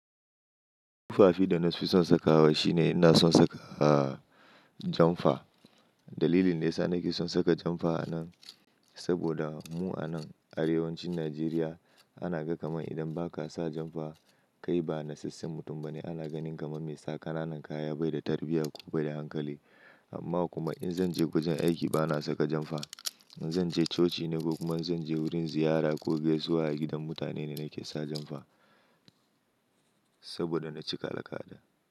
Tufafi da na fi son sakawa shine ina son saka, ah, janfa. Dalilin nesa nake son saka janfa a nan saboda mu a nan arewacin Najeriya ana ga kamar idan ba ka sa janfa kai ba nasassan mutum ba ne. Ana ganin kamar mai sa ƙananan kaya, bai da tarbiyya ko bai da hankali. Amma kuma in zan je wajen aiki ba na saka janfa. In zan je coci ne ko kuma in zan je wurin ziyara ko gaisawa gidan mutane ne nake sa janfa saboda na cika laka da.